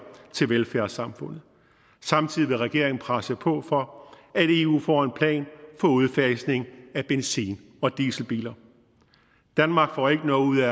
til velfærdssamfundet samtidig vil regeringen presse på for at eu får en plan for udfasning af benzin og dieselbiler danmark får ikke noget ud af